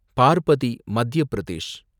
Parbati, Madhya Pradesh